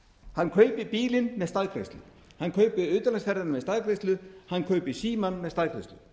hann kaupir bílinn með staðgreiðslu hann kaupir utanlandsferðir með staðgreiðslu hann kaupir símann með staðgreiðslu